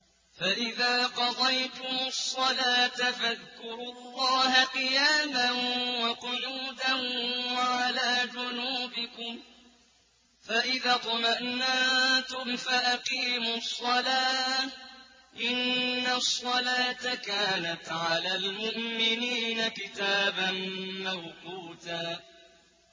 فَإِذَا قَضَيْتُمُ الصَّلَاةَ فَاذْكُرُوا اللَّهَ قِيَامًا وَقُعُودًا وَعَلَىٰ جُنُوبِكُمْ ۚ فَإِذَا اطْمَأْنَنتُمْ فَأَقِيمُوا الصَّلَاةَ ۚ إِنَّ الصَّلَاةَ كَانَتْ عَلَى الْمُؤْمِنِينَ كِتَابًا مَّوْقُوتًا